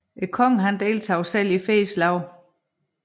Kongen deltog selv i flere slag